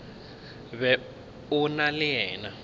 be o na le yena